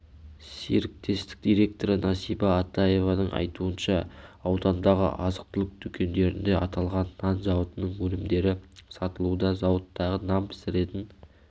серіктестік директоры насиба атаеваның айтуынша аудандағы азық-түлік дүкендерінде аталған нан зауытының өнімдері сатылуда зауыттағы нан пісіретін